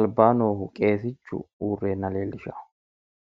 albaa noohu qeesichu uurreenna leellishawo.